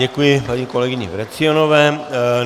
Děkuji paní kolegyni Vrecionové.